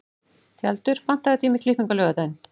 Tjaldur, pantaðu tíma í klippingu á laugardaginn.